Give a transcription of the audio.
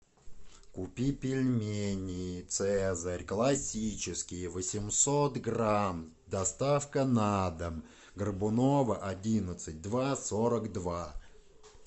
купи пельмени цезарь классические восемьсот грамм доставка на дом горбунова одиннадцать два сорок два